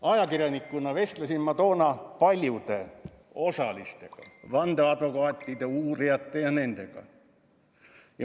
Ajakirjanikuna vestlesin ma toona paljude osalistega, ka vandeadvokaatide ja uurijatega.